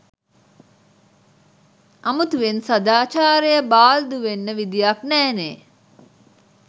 අමුතුවෙන් සදාචාරය බාල්දු වෙන්න විදියක් නෑනේ